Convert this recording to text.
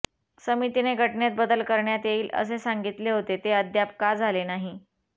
समितीने घटनेत बदल करण्यात येईल असे सांगितले होते ते अद्याप का झाले नाही